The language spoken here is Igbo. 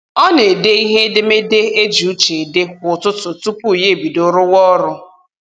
Ọ na-ede ihe edemede e ji uche ede kwa ụtụtụ tupu ya ebido rụwa ọrụ